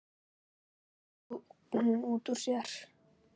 hreytti hún út úr sér.